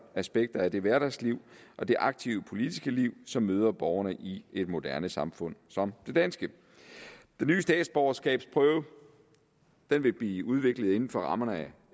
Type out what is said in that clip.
aspekter af det hverdagsliv og det aktive politiske liv som møder borgerne i et moderne samfund som det danske den nye statsborgerskabsprøve vil blive udviklet inden for rammerne